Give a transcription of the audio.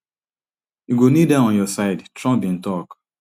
you go need her on your side trump bin tok